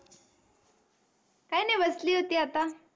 काही नाही बसली होती आता.